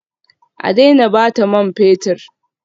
A daina bata man fetur